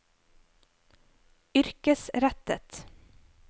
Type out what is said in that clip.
yrkesrettet